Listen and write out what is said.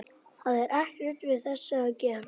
Skulu sveinar mínir, allt málsmetandi menn úr